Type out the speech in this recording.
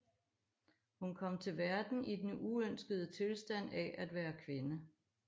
Hun kom til verden i den uønskede tilstand af at være kvinde